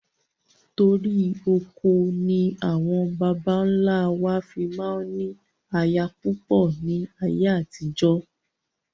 Torí oko ni àwọn baba ńlá wa fi máa ń ní aya púpọ̀ ni ayé àtijọ́